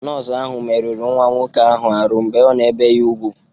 Nọọsụ ahu meruru nwa nwọke ahu arụ mgbe ana-ebe ya ùgwú.